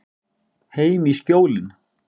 Heim í Skjólin.